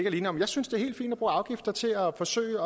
alene om jeg synes det er helt fint at bruge afgifter til at forsøge